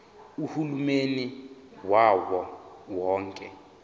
uhulumeni wawo wonke